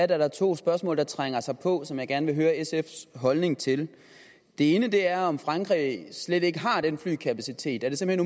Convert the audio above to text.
der er to spørgsmål der trænger sig på og som jeg gerne vil høre sfs holdning til det ene er om frankrig slet ikke har den flykapacitet er det simpelt